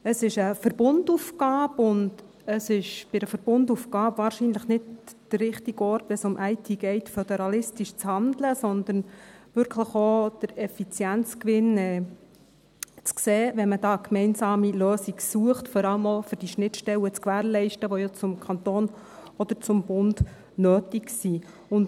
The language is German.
Es ist eine Verbundaufgabe, und es ist bei einer Verbundaufgabe wahrscheinlich nicht der richtige Ort, wenn es um IT geht, föderalistisch zu handeln, sondern man sollte wirklich auch den Effizienzgewinn sehen, wenn man da eine gemeinsame Lösung sucht, vor allem auch um die Schnittstellen zu gewährleisten, die ja zum Kanton oder zum Bund nötig sind.